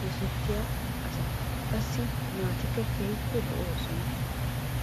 dosttiyaa asa. Qassi a naatikka keehippe lo"oosona.